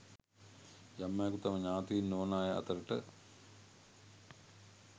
යම් අයකු තම ඤාතීන් නොවන අය අතරට